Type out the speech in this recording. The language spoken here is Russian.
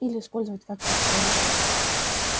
или использовать как почтовых